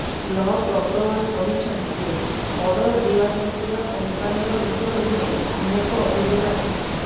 log Agarwal କହିଛନ୍ତି ଯେ order ଦିଆଯାଇଥିବା କମ୍ପାନୀର କିଟକୁ ନେଇ ଅନେକ ଅଭିଯୋଗ ଆସିଥିଲା